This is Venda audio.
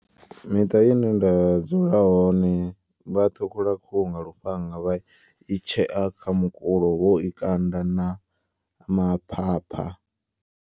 Miṱa ine nda dzula hone vha ṱhukhula khuhu nga lufhanga. Vha i tshea kha mukulo vho i kanda na maphapha.